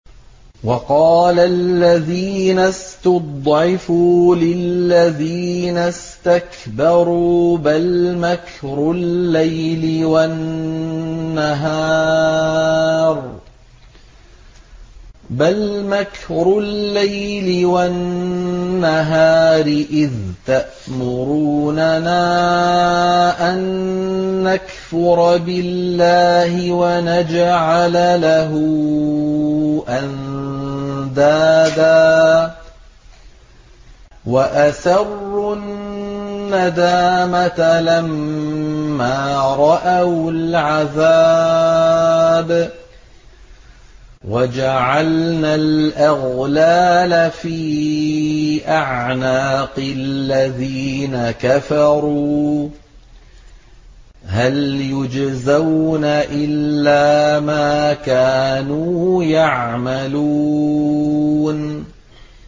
وَقَالَ الَّذِينَ اسْتُضْعِفُوا لِلَّذِينَ اسْتَكْبَرُوا بَلْ مَكْرُ اللَّيْلِ وَالنَّهَارِ إِذْ تَأْمُرُونَنَا أَن نَّكْفُرَ بِاللَّهِ وَنَجْعَلَ لَهُ أَندَادًا ۚ وَأَسَرُّوا النَّدَامَةَ لَمَّا رَأَوُا الْعَذَابَ وَجَعَلْنَا الْأَغْلَالَ فِي أَعْنَاقِ الَّذِينَ كَفَرُوا ۚ هَلْ يُجْزَوْنَ إِلَّا مَا كَانُوا يَعْمَلُونَ